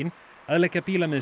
að leggja